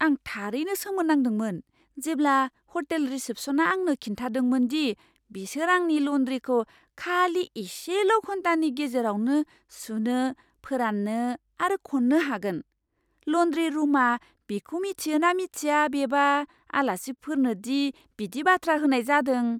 आं थारैनो सोमोनांदोंमोन जेब्ला हटेल रिसेप्शना आंनो खिन्थादोंमोन दि बिसोर आंनि लन्ड्रीखौ खालि एसेल' घन्टानि गेजेरावनो सुनो, फोराननो आरो खन्नो हागोन। लन्ड्री रुमआ बिखौ मिथियो ना मिथिया बेबा आलासिफोरनो दि बिदि बाथ्रा होनाय जादों।